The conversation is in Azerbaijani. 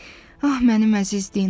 Ah, mənim əziz Dinam.